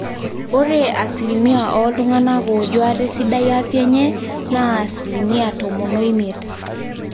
ore asilimia ooltung'anak oojo ate sidai afya enye naa asilimia tomon oimiet